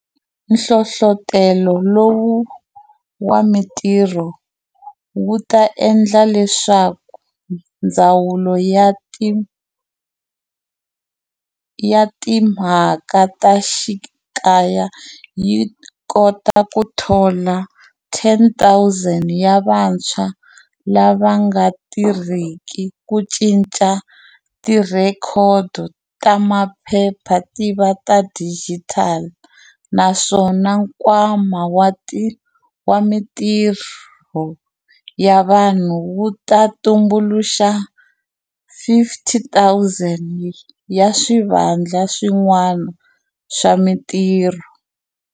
Nhlohlotelo lowu wa mitirho wu ta endla leswaku Ndzawulo ya Timhaka ta Xikaya yi kota ku thola 10 000 ya vantshwa lava nga tirhiki ku cinca tirhekodo ta maphepha ti va ta dijitali, naswona Nkwama wa Mitirho ya Vanhu wu ta tumbuluxa 50 000 ya swivandla swin'wana swa mitirho.